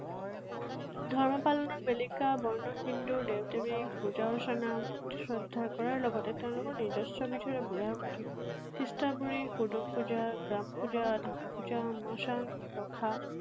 ধৰ্ম পালনৰ বেলিকা বৰ্ণ হিন্দুৰ দেৱ দেৱীক পূজা, অৰ্চনা, ভক্তি শ্ৰদ্ধা কৰাৰ লগতে তেঁওলোকৰ নিজস্ব বিধৰ বুঢ়া বুঢ়ী হুদুং পূজা, গ্ৰাম পূজা, ধাম পূজা, মাসান